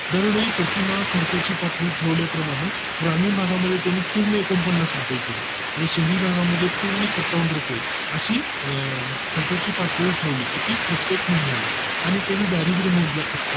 दर डोई प्रतिमाह खर्च ची पातळी प्रमाण ग्रामीण भागा मध्ये त्यांनी पूर्ण एकोणपन्नास रुपये केली आणि शहरी भागा मध्ये सत्तावन्न रुपये अशी खर्चाची पातळी ठरवली किती प्रत्येक महिन्या ला आणि कोणी दारिद्य मोजलं